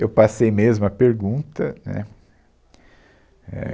Eu passei, mesma pergunta, né? É,